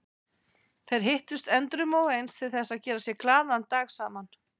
Þeir hittust endrum og eins til þess að gera sér glaðan dag saman.